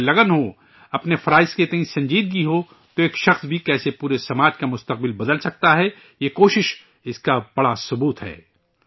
اگر لگن ہو، اپنے فرائض کے تئیں سنجیدگی ہو، تو ایک فرد بھی کیسے پورے سماج کا مستقبل بدل سکتا ہے، یہ یہ کوشش اس کی بڑی تحریک ہے